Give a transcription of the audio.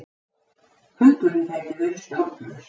Hundurinn gæti verið stjórnlaus.